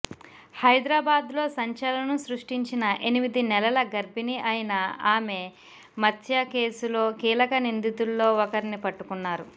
హైదరాబాద్లో సంచలనం సృష్టించిన ఎనిమిది నెలల గర్భిణి అయిన ఆమె మత్య కేసులో కీలక నిందితుల్లో ఒకర్ని పట్టుకున్నారు